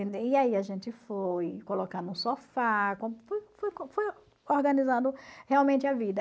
E aí a gente foi colocar no sofá, organizando realmente a vida.